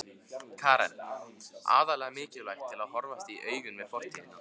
Karen: Aðallega mikilvægt til að horfast í augu við fortíðina?